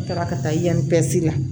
N taara ka taa yan pɛrizi la